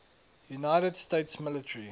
united states military